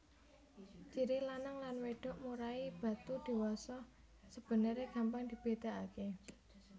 Ciri lanang lan wedok murai batu diwasa sebenere gampang dibedakake